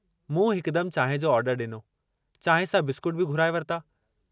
मूं हिकदम चांहि जो आर्डर ॾिनो, चांहि सां बिस्केट बि घुराए वरिता।